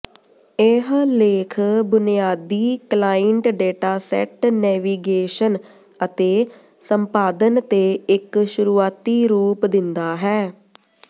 ਇਹ ਲੇਖ ਬੁਨਿਆਦੀ ਕਲਾਇੰਟਡੇਟਾਸੈੱਟ ਨੇਵੀਗੇਸ਼ਨ ਅਤੇ ਸੰਪਾਦਨ ਤੇ ਇੱਕ ਸ਼ੁਰੂਆਤੀ ਰੂਪ ਦਿੰਦਾ ਹੈ